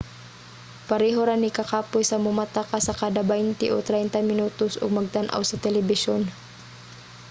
pareho ra ni kakapoy sa momata ka sa kada baynte o traynta minutos ug magtan-aw sa telebisyon